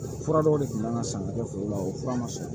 Fura dɔw de kun kan ka san ka kɛ foro la o fura ma sɔn